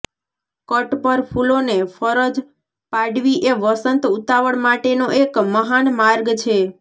cut પર ફૂલોને ફરજ પાડવી એ વસંત ઉતાવળ માટેનો એક મહાન માર્ગ છે